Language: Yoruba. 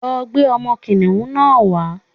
Lọ gbé ọmọ kìnìhún náà wá.